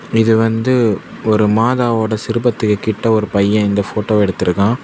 இது வந்து ஒரு மாதாவோட சிறுபத்து கிட்ட ஒரு பையன் இந்த போட்டோ எடுத்திருக்கான்.